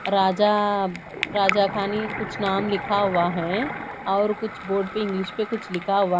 राजा राजा खानी कुछ नाम लिखा हुआ है और कुछ बोर्ड पे इंग्लिश मे कुछ लिखा हुआ--